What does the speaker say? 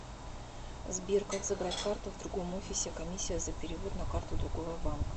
сбер как забрать карту в другом офисе комиссия за перевод на карту другого банка